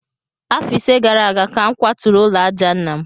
Afọ ise gara aga ka m kwaturu ụlọ àjà nna m